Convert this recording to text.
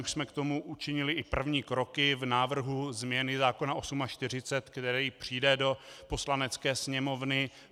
Už jsme k tomu učinili i první kroky v návrhu změny zákona 48, který přijde do Poslanecké sněmovny.